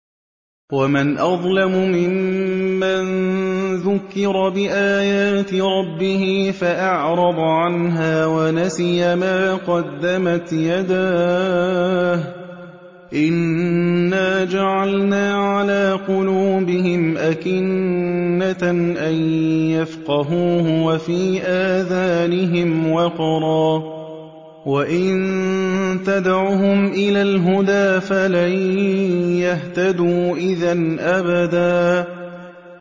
وَمَنْ أَظْلَمُ مِمَّن ذُكِّرَ بِآيَاتِ رَبِّهِ فَأَعْرَضَ عَنْهَا وَنَسِيَ مَا قَدَّمَتْ يَدَاهُ ۚ إِنَّا جَعَلْنَا عَلَىٰ قُلُوبِهِمْ أَكِنَّةً أَن يَفْقَهُوهُ وَفِي آذَانِهِمْ وَقْرًا ۖ وَإِن تَدْعُهُمْ إِلَى الْهُدَىٰ فَلَن يَهْتَدُوا إِذًا أَبَدًا